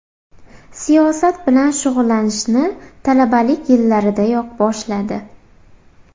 Siyosat bilan shug‘ullanishni talabalik yillaridayoq boshladi.